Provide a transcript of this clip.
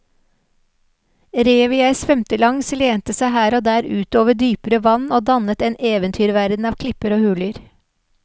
Revet jeg svømte langs lente seg her og der ut over dypere vann og dannet en eventyrverden av klipper og huler.